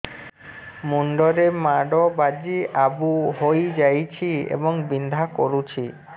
ମୁଣ୍ଡ ରେ ମାଡ ବାଜି ଆବୁ ହଇଯାଇଛି ଏବଂ ବିନ୍ଧା କରୁଛି